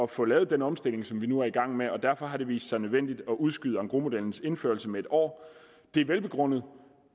få lavet den omstilling som vi nu er i gang med derfor har det vist sig nødvendigt at udskyde engrosmodellens indførelse med en år det er velbegrundet